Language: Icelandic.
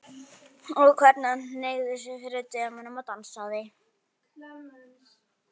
Og hvernig hann hneigði sig fyrir dömunum og dansaði!